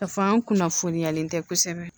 Kafan kunnafoniyalen tɛ kosɛbɛ